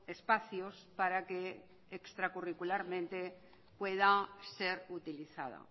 espacios para que extra curricularmente pueda ser utilizada